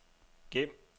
gem